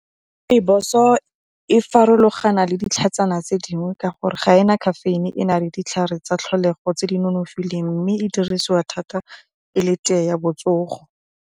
Rooibos-o e farologana le ditlhatsana tse dingwe ka gore ga e na caffeine e na le ditlhare tsa tlholego tse di nonofileng mme e dirisiwa thata e le tee ya botsogo.